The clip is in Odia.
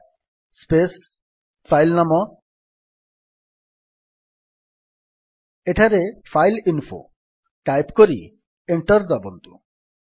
କ୍ୟାଟ୍ ସ୍ପେସ୍ ଫାଇଲ୍ ନାମ ଏଠାରେ ଫାଇଲଇନଫୋ ଟାଇପ୍ କରି ଏଣ୍ଟର୍ ଦାବନ୍ତୁ